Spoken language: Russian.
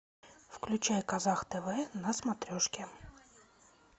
включай казах тв на смотрешке